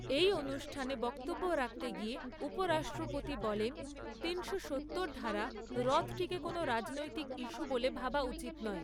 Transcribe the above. এই অনুষ্ঠানে বক্তব্য রাখতে গিয়ে উপরাষ্ট্রপতি বলেন তিনশো সত্তর ধারা রদটিকে কোন রাজনৈতিক ইস্যু বলে ভাবা উচিত নয়।